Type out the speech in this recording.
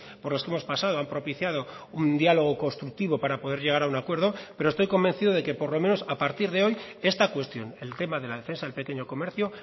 por los que hemos pasado han propiciado un diálogo constructivo para poder llegar a un acuerdo pero estoy convencido de que por lo menos a partir de hoy esta cuestión el tema de la defensa del pequeño comercio